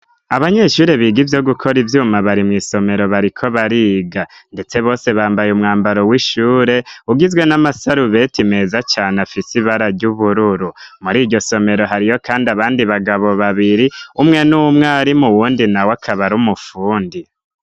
Abanyeshuri biga ivyo gukora ivyuma bari mw' isomero bariko bariga; ndetse bose bambaye umwambaro w'ishure ugizwe n'amasarubeti meza cane afise ibara ry' ubururu. Muri iryo somero hariyo kandi abandi bagabo babiri, umwe ni umwarimu, uwundi nawe akaba ari umufundi.